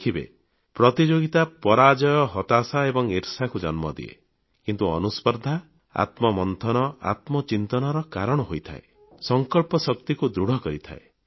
ଦେଖିବେ ପ୍ରତିଯୋଗିତା ପରାଜୟ ହତାଶା ଏବଂ ଈର୍ଷାକୁ ଜନ୍ମ ଦିଏ କିନ୍ତୁ ଅନୁସ୍ପର୍ଦ୍ଧା ଆତ୍ମମନ୍ଥନ ଆତ୍ମଚିନ୍ତନର କାରଣ ହୋଇଥାଏ ସଂକଳ୍ପ ଶକ୍ତିକୁ ଦୃଢ଼ କରିଥାଏ